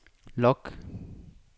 log